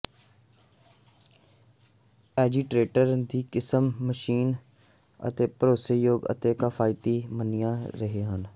agitator ਦੀ ਕਿਸਮ machine ਸਭ ਭਰੋਸੇਯੋਗ ਅਤੇ ਕਿਫ਼ਾਇਤੀ ਮੰਨਿਆ ਰਹੇ ਹਨ